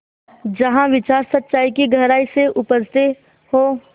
जहाँ विचार सच्चाई की गहराई से उपजतें हों